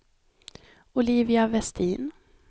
Olivia Westin